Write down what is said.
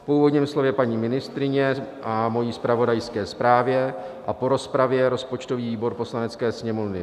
Po úvodním slově paní ministryně a mojí zpravodajské zprávě a po rozpravě rozpočtový výbor Poslanecké sněmovny